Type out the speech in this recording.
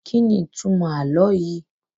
Kíni ìtumọ̀ àlọ́ yìí?